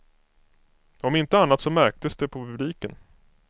Om inte annat så märktes det på publiken.